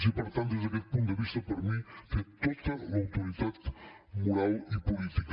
i per tant des d’aquest punt de vista per mi té tota l’autoritat moral i política